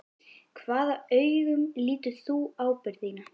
Hvaða augum lítur þú ábyrgð þína?